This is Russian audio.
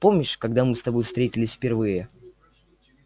помнишь когда мы с тобой встретились впервые